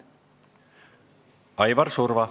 Aivar Surva.